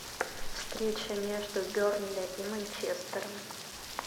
встреча между бернли и манчестером